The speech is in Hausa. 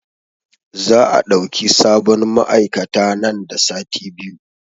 Za a ɗauki sabon ma'aikata nan da sati biyu